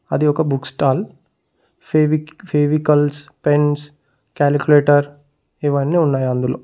అది ఒక book stall Fevikwik Fevicols pens calculator ఇవి అన్ని ఉన్నాయి అందులో.